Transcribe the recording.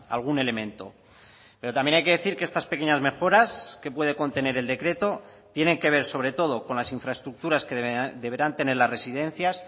algún elemento pero también hay que decir que estas pequeñas mejoras que puede contener el decreto tienen que ver sobre todo con las infraestructuras que deberán tener las residencias